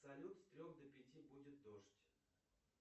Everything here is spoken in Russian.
салют с трех до пяти будет дождь